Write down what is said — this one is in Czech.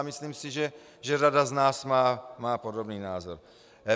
A myslím si, že řada z nás má podobný názor.